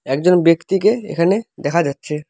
একজন ব্যক্তিকে এখানে দেখা যাচ্ছে।